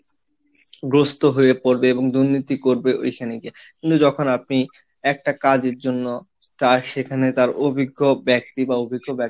গ্রস্ত হয় পড়বে এবং দুর্নীতি করবে ওইখানে গিয়ে, কিন্তু যখন আপনি একটা কাজের জন্য তার সেখানে তার অভিজ্ঞ ব্যক্তি বা অভিজ্ঞ ব্যক্তি,